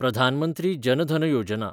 Pradhan Mantri Jan Dhan Yojana